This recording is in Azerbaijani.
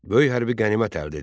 Böyük hərbi qənimət əldə edildi.